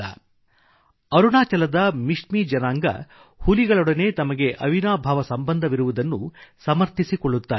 • ಅರುಣಾಚಲದ ಮಿಶ್ಮೀ ಜನಾಂಗ ಹುಲಿಗಳೊಡನೆ ತಮಗೆ ಅವಿನಾಭಾವ ಸಂಬಂಧವಿರುವುದನ್ನು ಸಮರ್ಥಿಸಿಕೊಳ್ಳುತ್ತಾರೆ